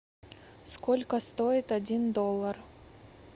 сколько стоит один доллар